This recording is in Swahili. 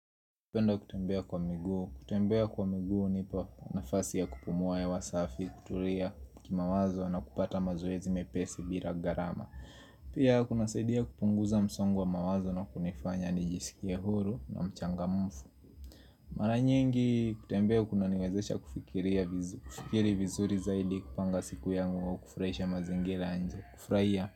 Kupenda kutembea kwa miguu. Kutembea kwa miguu hunipa nafasi ya kupumua ya hewa safi, kutulia, kima wazo na kupata mazoezi mepesi bila gharama. Pia kuna saidia kupunguza msongo wa mawazo na kunifanya nijisikia huru na mchanga mfu. Mara nyingi kutembea kuna niwezesha kufikiri vizuri za ili kupanga siku yangu wa kufurahisha mazingira ya nje. Kufurahia.